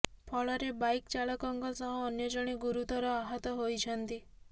ଫଳରେ ବାଇକ ଚାଳକଙ୍କ ସହ ଅନ୍ୟ ଜଣେ ଗୁରୁତର ଆହତ ହୋଇଛନ୍ତି